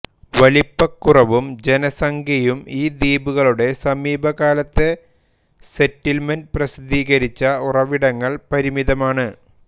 വലിപ്പക്കുറവും ജനസംഖ്യയും ഈ ദ്വീപുകളുടെ സമീപകാലത്തെ സെറ്റിൽമെന്റ് പ്രസിദ്ധീകരിച്ച ഉറവിടങ്ങൾ പരിമിതമാണ്